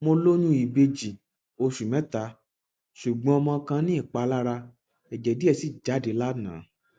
mo lóyún ìbejì oṣù mẹta ṣùgbọn ọmọ kan ní ìpalára ẹjẹ díẹ sì jáde lánàá